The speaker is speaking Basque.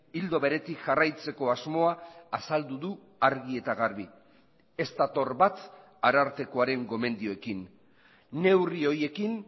ildo beretik jarraitzeko asmoa azaldu du argi eta garbi ez dator bat arartekoaren gomendioekin neurri horiekin